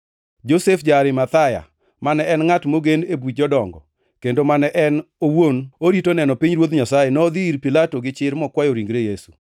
Josef ja-Arimathaya, mane en ngʼat mogen e Buch Jodongo, kendo mane en owuon orito neno pinyruoth Nyasaye, nodhi ir Pilato gi chir mokwayo ringre Yesu.